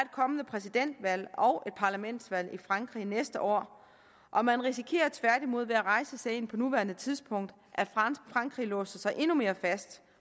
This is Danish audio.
kommende præsidentvalg og et parlamentsvalg i frankrig næste år og man risikerer tværtimod ved at rejse sagen på nuværende tidspunkt at frankrig låser sig endnu mere fast